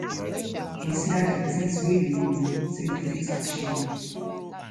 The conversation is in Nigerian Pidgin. consider di things wey you know sey you fit achieve